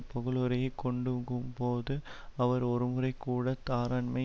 புகழுரையை கொண்டுகும்போது அவர் ஒருமுறைகூட தாராண்மை